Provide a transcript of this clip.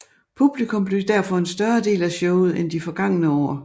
Publikum blev derfor en større del af showet end de forgange år